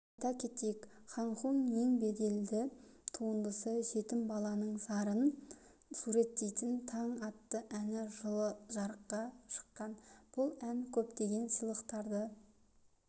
айта кетейік хан хунның ең беделді туындысы жетім баланың зарын суреттейтін таң атты әні жылы жарыққа шыққан бұл ән көптеген сыйлықтарды